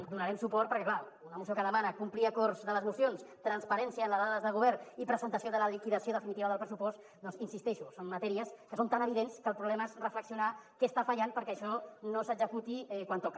hi donarem suport perquè és clar una moció que demana complir acords de les mocions transparència en les dades del govern i presentació de la liquidació definitiva del pressupost doncs hi insisteixo són matèries que són tan evidents que el problema és reflexionar què està fallant perquè això no s’executi quan toca